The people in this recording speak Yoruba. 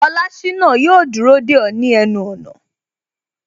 Olashina yo dúró de o ni ẹnu ona